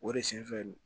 O de sen fɛ